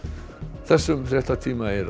þessum fréttatíma er